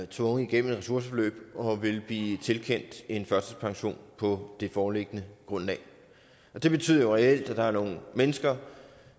tvunget igennem et ressourceforløb og vil blive tilkendt en førtidspension på det foreliggende grundlag det betyder jo reelt at der er nogle mennesker